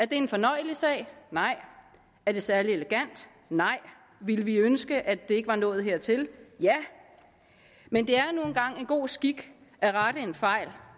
det en fornøjelig sag nej er det særlig elegant nej ville vi ønske at det ikke var nået hertil ja men det er nu engang en god skik at rette en fejl